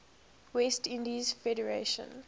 west indies federation